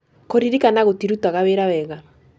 Kũririkana gũtirutaga wĩra wega.